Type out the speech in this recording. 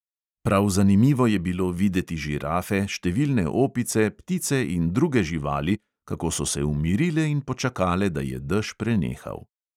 Prav zanimivo je bilo videti žirafe, številne opice, ptice in druge živali, kako so se umirile in počakale, da je dež prenehal.